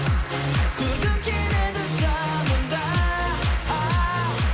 көргім келеді жанымда ааа